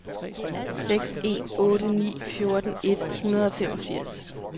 seks en otte ni fjorten et hundrede og femogfirs